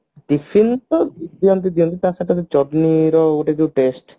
tiffin ଦିଅନ୍ତି ଯେମତି ତ ସହିତ ବି ଚଟନି ର ବି ଗୋଟେ ବି test